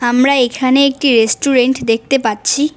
আমরা এখানে একটি রেস্টুরেন্ট দেখতে পাচ্ছি।